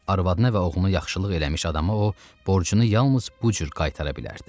Arvadına və oğlunu yaxşılıq eləmiş adama o borcunu yalnız bu cür qaytara bilərdi.